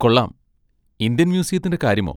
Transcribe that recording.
കൊള്ളാം... ഇന്ത്യൻ മ്യൂസിയത്തിന്റെ കാര്യമോ?